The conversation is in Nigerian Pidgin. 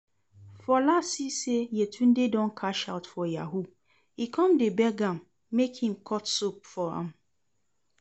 Fola see say Yetunde don cash out for yahoo, e come dey beg am make im cut soap for am